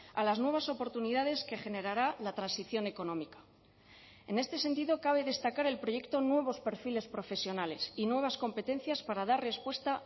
a las nuevas oportunidades que generará la transición económica en este sentido cabe destacar el proyecto nuevos perfiles profesionales y nuevas competencias para dar respuesta